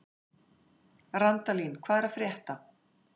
Randalín, hvað er að frétta?